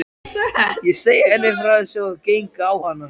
Ég segi henni frá þessu og geng á hana.